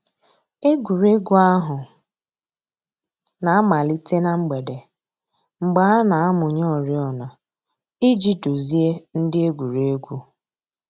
Ègwè́ré́gwụ̀ àhụ̀ nà-àmàlítè nà mgbèdè, mgbè a nà-àmụ̀nyè òrìọ̀nà íjì dùzìe ńdí ègwè́ré́gwụ̀.